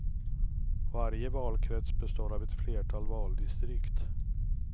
Varje valkrets består av ett flertal valdistrikt.